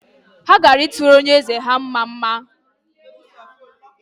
Ha ga-atụrụ onye eze ha mmamma